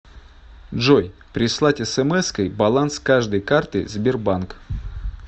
джой прислать смской баланс каждой карты сбербанк